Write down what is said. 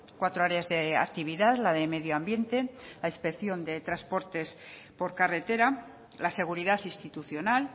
cuatro áreas de actividad la de medio ambiente la inspección de transportes por carretera la seguridad institucional